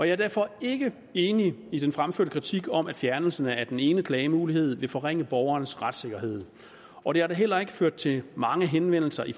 er derfor ikke enig i den fremførte kritik om at fjernelsen af den ene klagemulighed vil forringe borgerens retssikkerhed og det har da heller ikke ført til mange henvendelser i